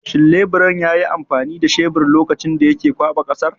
Shin leburan yayi amfani da shebir lokacin da yake ƙwaɓa ƙasar?